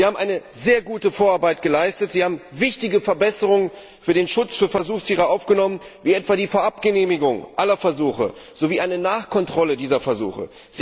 Sie haben sehr gute Vorarbeit geleistet, Sie haben wichtige Verbesserungen für den Schutz von Versuchstieren aufgenommen, wie etwa die Vorabgenehmigung aller Versuche sowie eine Nachkontrolle aller Versuche.